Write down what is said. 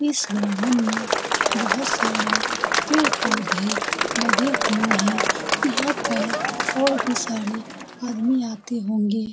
इस ग्राउंड में बहुत सारे पेड़-पौधे लगे हुए हैं यहाँ पर और भी सारे आदमी आते होंगे।